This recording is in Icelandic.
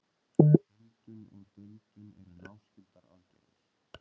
Heildun og deildun eru náskyldar aðgerðir.